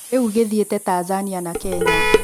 Rĩu gĩthiĩte Tanzania na Kenya.